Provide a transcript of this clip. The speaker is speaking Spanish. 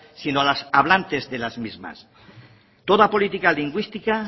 sino a los hablantes de las mismas toda política lingüística